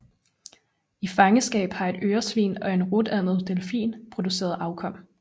I fangenskab har et øresvin og en rutandet delfin produceret afkom